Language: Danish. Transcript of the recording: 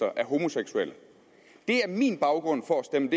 af homoseksuelle det er min baggrund for at stemme